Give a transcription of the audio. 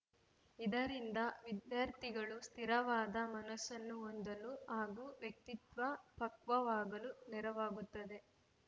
ಇದರಿಂದ ವಿದ್ಯಾರ್ಥಿಗಳು ಸ್ಥಿರವಾದ ಮನಸ್ಸನ್ನು ಹೊಂದಲು ಹಾಗೂ ವ್ಯಕ್ತಿತ್ವ ಪಕ್ವವಾಗಲು ನೆರವಾಗುತ್ತದೆ